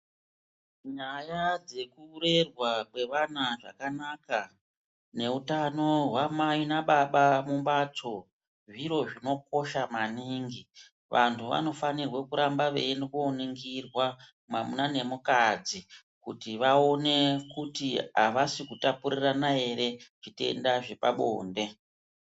Nyaya dzekurerwa kweana zvakanaka neutano hwamai nababa mubhatso, zviro zvinokosha maningi. Vantu vanofanirwa kenda koningirwa mwamuna nemukadzi kuti vaone kuti havasi kutapurirana ere zvitenda zvepabonde.